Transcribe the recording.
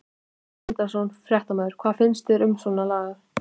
Sindri Sindrason, fréttamaður: Hvað finnst þér um svona lagað?